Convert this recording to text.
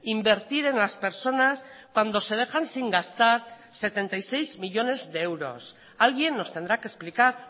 invertir en las personas cuando se dejan sin gastar setenta y seis millónes de euros alguien nos tendrá que explicar